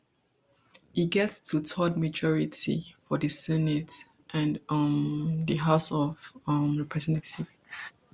e get twothirds majority for di senate and um di house of um representatives